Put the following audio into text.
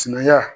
Sinankunya